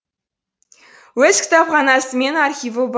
өз кітапханасы мен архиві бар